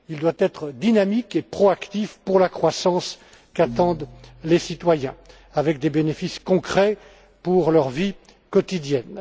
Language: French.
Il doit être dynamique et proactif pour la croissance qu'attendent les citoyens, avec des bénéfices concrets pour leur vie quotidienne.